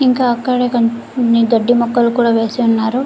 ఇంకా అక్కడ కోన్ ని గడ్డి మొక్కలకు కూడా వేసి ఉన్నారు.